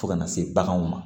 Fo ka na se baganw ma